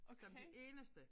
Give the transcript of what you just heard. Som de eneste